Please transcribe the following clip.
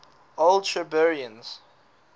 old shirburnians